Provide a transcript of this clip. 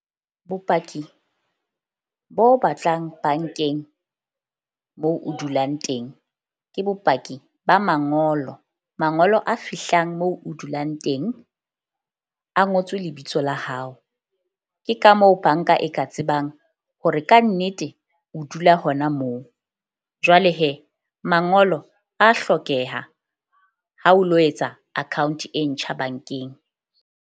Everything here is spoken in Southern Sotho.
Bopaki bo batlang bank-eng moo o dulang teng ke bopaki ba mangolo. Mangolo a fihlang moo o dulang teng, a ngotswe lebitso la hao. Ke ka moo bank-a e ka tsebang hore kannete o dula hona moo. Jwale mangolo a hlokeha ha o lo etsa account e ntjha bank-eng.